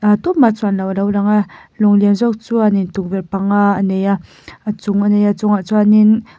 a tuma chuan loh alo langa lawng lian zawk chuanin tukverh panga a neia a chung a neia chungah chuanin--